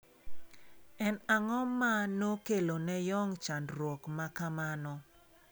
En ang'o ma nokelo ne yong chandruok ma kamano?